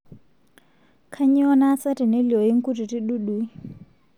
kanyioo naasa teneliooyu nkutiti dudui.